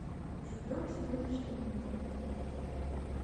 живем сегодняшним днем